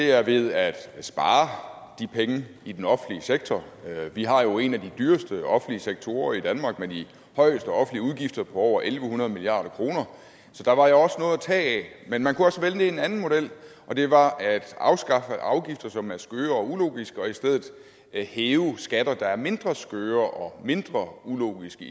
er ved at spare de penge i den offentlige sektor vi har jo i danmark en af de dyreste offentlige sektorer med de højeste offentlige udgifter på over en hundrede milliard kr så der var jo noget at tage af men man kunne også vælge en anden model og det var at afskaffe afgifter som er skøre og ulogiske og i stedet hæve skatter der er mindre skøre og mindre ulogiske